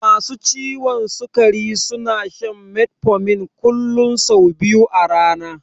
Masu ciwon sikari suna shan metformin kullun sau biyu a rana.